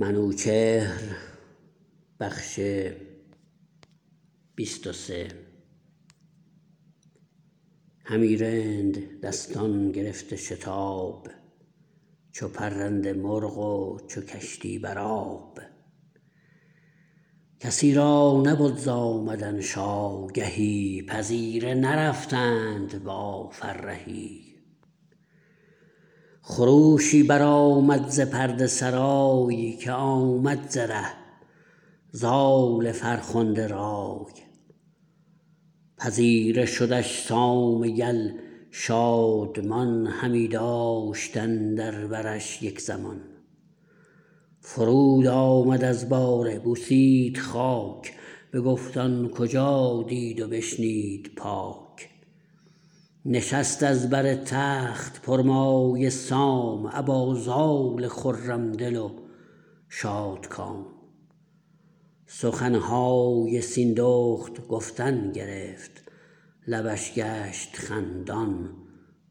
همی راند دستان گرفته شتاب چو پرنده مرغ و چو کشتی برآب کسی را نبد ز آمدنش آگهی پذیره نرفتند با فرهی خروشی برآمد ز پرده سرای که آمد ز ره زال فرخنده رای پذیره شدش سام یل شادمان همی داشت اندر برش یک زمان فرود آمد از باره بوسید خاک بگفت آن کجا دید و بشنید پاک نشست از بر تخت پرمایه سام ابا زال خرم دل و شادکام سخنهای سیندخت گفتن گرفت لبش گشت خندان